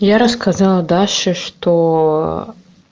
я рассказала даше что